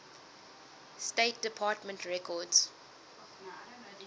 state department records